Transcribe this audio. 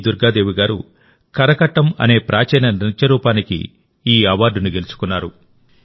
దుర్గా దేవి గారు కరకట్టం అనే ప్రాచీన నృత్య రూపానికి ఈ అవార్డును గెలుచుకున్నారు